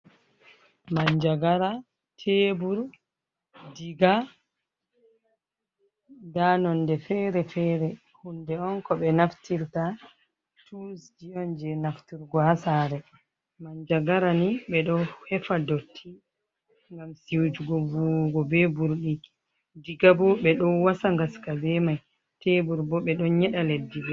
Manjagara, chebur, diga, nda nonde fere-fere. Hunde on ko ɓe naftirta, tuls ji on jei nafturgo ha saare, manjagara ni ɓe ɗo hefa dotti ngam siutugo vuwuugo be burɗi, diga bo ɓe ɗo wasa ngaska be mai, chebur bo ɓe ɗo nyeɗa leddi bo.